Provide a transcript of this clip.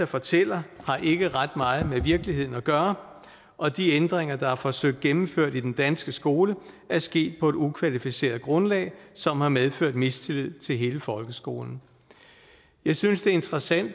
fortæller har ikke ret meget med virkeligheden at gøre og de ændringer der er forsøgt gennemført i den danske skole er sket på et ukvalificeret grundlag som har medført mistillid til hele folkeskolen jeg synes det er interessant